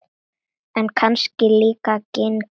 En kannski líka genin.